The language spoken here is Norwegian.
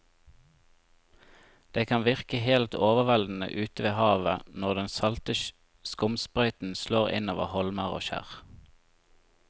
Det kan virke helt overveldende ute ved havet når den salte skumsprøyten slår innover holmer og skjær.